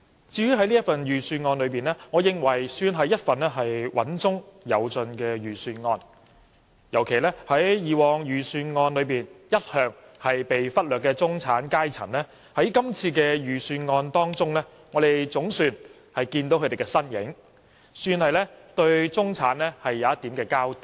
至於這份預算案，我認為也算是一份"穩中有進"的預算案，尤其是以往在預算案中一向被忽略的中產階層，在今年的預算案中總算找到他們的身影，算是對中產的一點交代。